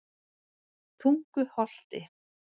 Tunguholti